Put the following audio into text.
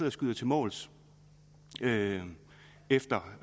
og skyder til måls efter